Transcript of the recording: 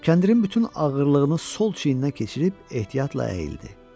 Kəndirin bütün ağırlığını sol çiyninə keçirib ehtiyatla əyildi.